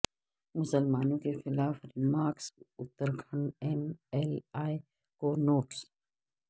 مسلمانوں کے خلاف remarks Uttarakhand M L A کو نوٹس